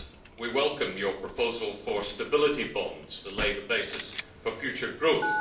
We welcome his proposal for stability bonds to lay the basis for future growth.